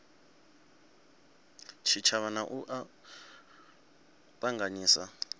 tshitshavha na u a ṱanganyisa